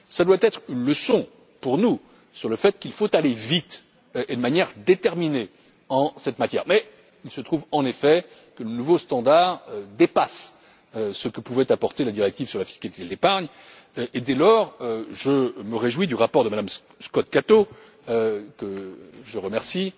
Cela doit être une leçon pour nous sur le fait qu'il faut aller vite et de manière déterminée en la matière, mais il se trouve en effet que le nouveau standard dépasse ce que pouvait apporter la directive sur la fiscalité de l'épargne et, dès lors, je me réjouis du rapport de Mme Scott Cato, que je remercie,